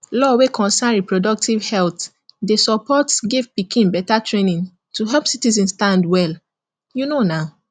law wey concern reprodutive health dey supports give pikin better training to help citizen stand well you know na